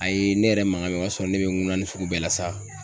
A ye ne yɛrɛ maga bɛ o y'a sɔrɔ ne bɛ ŋunani sugu bɛɛ la sa